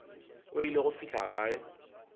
o ile go fihla gae